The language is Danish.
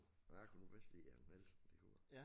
Jeg kunne nu bedst lide Hans Nielsen det kunne jeg